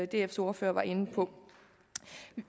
dfs ordfører var inde på